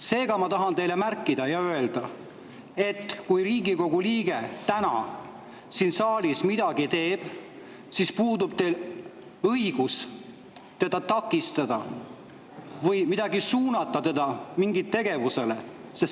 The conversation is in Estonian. Seega, ma tahan märkida ja teile öelda, et kui Riigikogu liige täna siin saalis midagi teeb, siis puudub teil õigus teda takistada või suunata teda mingile tegevusele.